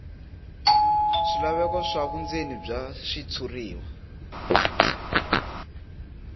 swilaveko swa vundzeni bya xitshuriwa